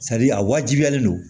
a wajibiyalen don